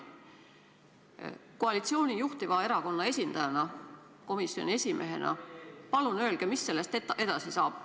Palun öelge koalitsiooni juhtiva erakonna esindajana ja komisjoni esimehena, mis sellest edasi saab.